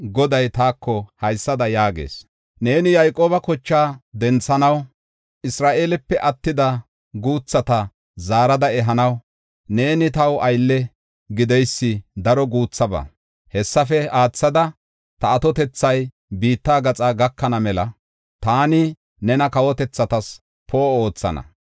Goday taako haysada yaagees; Neeni Yayqooba kochaa denthanaw Isra7eelepe attida guuthata zaarada ehanaw neeni taw aylle gideysi daro guuthaba. Hessafe aathada, ta atotethay biitta gaxa gakana mela taani nena kawotethatas poo7o oothana.